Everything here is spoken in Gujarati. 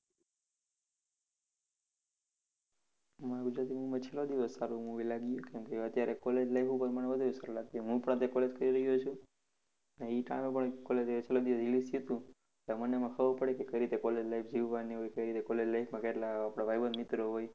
મને ગુજરાતી movie માં છેલ્લો દિવસ સારું movie લાગ્યું કારણ કે અત્યારે college life ઉપર મને વધુ સારું લાગ્યું. હું પોતે પણ college કરી રહ્યો છું. ઈ કારણ છેલ્લો દિવસ release થયું તું તો મને એમાં ખબર પડી કે કઈ રીતે college life જીવવાની હોય, કઈ રીતે college life માં કેટલા આપડા ભાઈબંધ મિત્રો હોય.